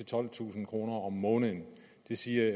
tolvtusind kroner om måneden det siger